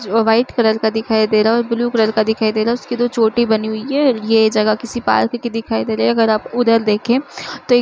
जो white colour का दिखाई दे रहा है और ब्लू कलर का दिखाई दे रहा। उसके दो चोटी बनी हुई हैं। ये जगह किसी पार्क की दिखाई दे रही है। अगर आप उधर देखें तो एक --